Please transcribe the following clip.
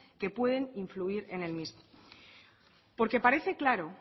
que pueden influir en el mismo porque parece claro